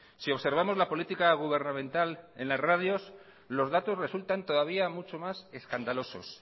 si observamos la política gubernamental en las radios los datos resultan todavía mucho más escandalosos